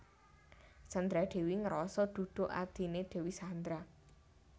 Sandra Dewi ngeroso duduk adhine Dewi Sandra